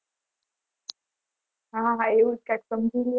હા હા એવું કંઈક સમજી લો